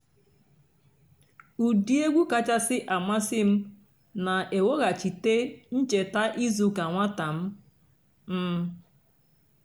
ụ́dị́ ègwú kàchàsị́ àmásị́ m nà-èwéghàchíté ǹchèta ìzú ụ́kà nwátà m. m.